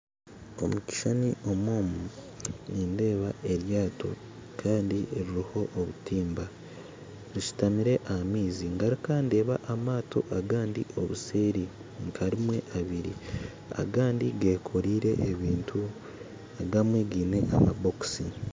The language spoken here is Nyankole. Omu kishushani omu omu nindeeba eryato kandi riroho obutimba rishutamire aha maizi ngaruka ndeeba amaato agandi obuseeri nka rimwe abiri agandi gekoreire ebintu agamwe gaine amabokisi